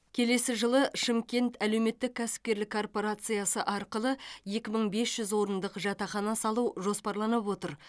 келесі жылы шымкент әлеуметтік кәсіпкерлік корпорациясы арқылы екі мың бес жүз орындық жатақхана салу жоспарланып отыр